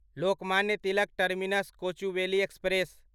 Lokmanya Tilak terminus Kochuveli express